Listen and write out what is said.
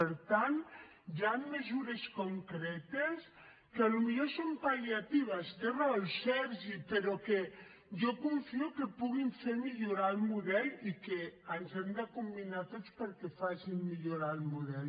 per tant hi han mesures concretes que potser són pal·liatives té raó el sergi però que jo confio que puguin fer millorar el model i que ens hem de combinar tots perquè facin millorar el model